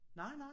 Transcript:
Nej nej